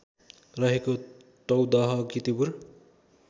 रहेको टौदह कीर्तिपुर